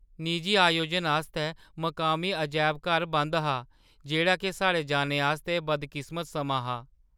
निजी आयोजन आस्तै मकामी अजैब घर बंद हा, जेह्‌ड़ा के साढ़े जाने आस्तै बदकिस्मत समां हा।